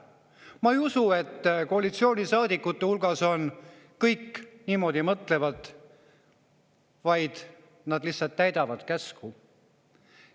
Ma ei usu, et koalitsioonisaadikute hulgas kõik niimoodi mõtlevad, vaid nad lihtsalt täidavad käsku.